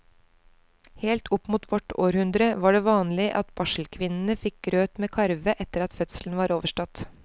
Helt opp mot vårt århundre var det vanlig at barselkvinnene fikk grøt med karve etter at fødselen var overstått.